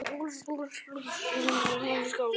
Hann er skáld